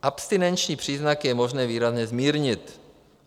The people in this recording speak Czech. Abstinenční příznaky je možné výrazně zmírnit.